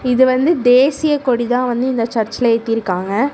இது வந்து தேசியக்கொடிதா வந்து இந்த சர்சு ல ஏத்திருக்காங்க.